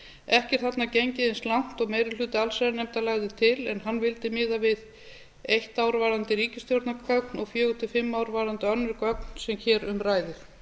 ekki er þarna gengið eins langt og meiri hluti allsherjarnefndar lagði til en hann vildi miða við eitt ár varðandi ríkisstjórnargögn og fjórar til fimm ár varðandi önnur gögn sem hér um ræðir